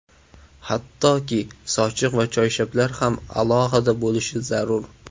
Hattoki, sochiq va choyshablar ham alohida bo‘lishi zarur.